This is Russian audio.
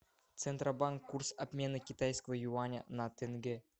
центробанк курс обмена китайского юаня на тенге